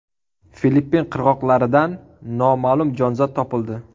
Filippin qirg‘oqlaridan noma’lum jonzot topildi.